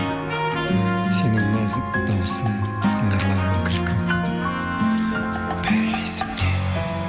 сенің нәзік дауысың сыңғырлаған күлкің бәрі есімде